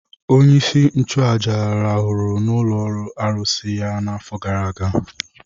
Onyeisi nchụaja rahụrụ n’ụlọ arụsị ya n’afọ gara aga.